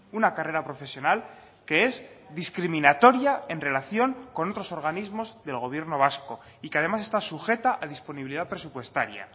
una carrera profesional que es discriminatoria en relación con otros organismos del gobierno vasco y que además está sujeta a disponibilidad presupuestaria